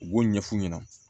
U b'o ɲɛf'u ɲɛna